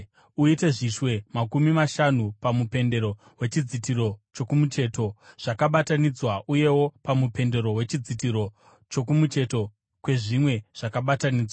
Uite zvishwe makumi mashanu pamupendero wechidzitiro chokumucheto zvakabatanidzwa uyewo pamupendero wechidzitiro chokumucheto kwezvimwe zvakabatanidzwa.